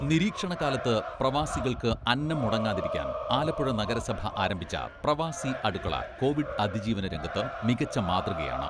നിരീക്ഷണ കാലത്ത് പ്രവാസികൾക്ക് അന്നം മുടങ്ങാതിരിക്കാൻ ആലപ്പുഴ നഗരസഭ ആരംഭിച്ച പ്രവാസി അടുക്കള കോവിഡ് അതിജീവന രംഗത്ത് മികച്ച മാതൃകയാണ്.